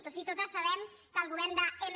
tots i totes sabem que el govern de m